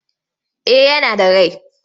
Eh yana da rai.